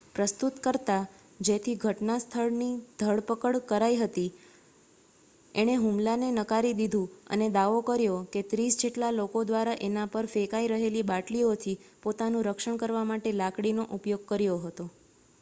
પ્રસ્તુતકર્તા જેની ઘટના સ્થળથી ધરપકડ કરાઈ હતી એણે હુમલાને નકારી દીધું અને દાવો કર્યો કે ત્રીસ જેટલા લોકો દ્વારા એના પર ફેંકાયી રહેલી બાટલીયોથી પોતાનું રક્ષણ કરવા માટે લાકડીનો ઉપયોગ કર્યો હતો